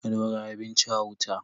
Dora abinci a wuta.